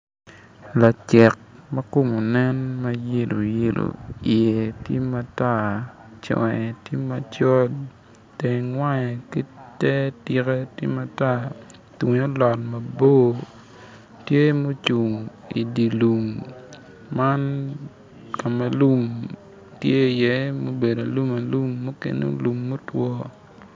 Lacek makome nen ma yelo yelo i ye tye matar conge tye macol teng wange ki ter tike tye matar tunge olot mabor tye ma ocung idilum man kome lum tye i ye mobedo alumalum mukene lum motwo.